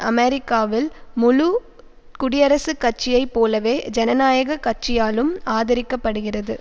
அமெரிக்காவில் முழு குடியரசுக் கட்சியை போலவே ஜனநாயக கட்சியாலும் ஆதரிக்கப்படுகிறது